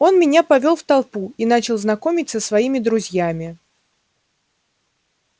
он меня повёл в толпу и начал знакомить со своими друзьями